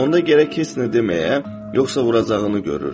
Onda gərək heç nə deməyə, yoxsa vuracağını görürdü.